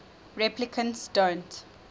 replicants don't